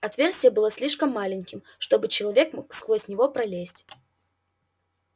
отверстие было слишком маленьким чтобы человек мог сквозь него пролезть